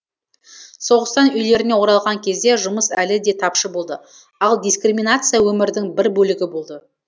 соғыстан үйлеріне оралған кезде жұмыс әлі де тапшы болды ал дискриминация өмірдің бір бөлігі болды